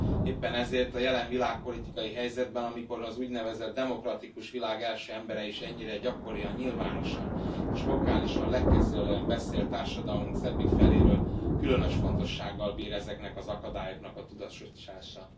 Éppen ezért, a jelen világpolitikai helyzetben, amikor az úgynevezett demokratikus világ első embere is ennyire gyakorian, nyilvánosan és vokálisan lekezelően beszél társadalmunk szebbik feléről, különös fontossággal bír ezeknek az akadályoknak a tudatosítása.